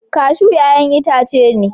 kashu ya'yan itace ne